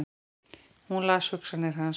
Hún las hugsanir hans!